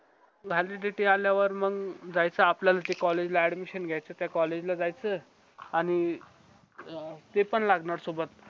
validity आल्यावर मंग जायचा आपल्या जे college ला admission घेयचा त्या college ला जायच आणि paper लागणार सोबत